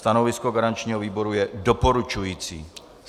Stanovisko garančního výboru je doporučující.